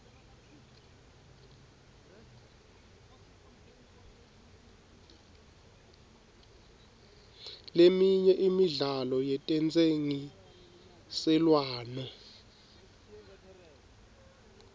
leminye imidlalo yetentsengiselwano